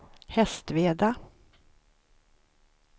Hästveda